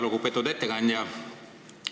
Väga lugupeetud ettekandja!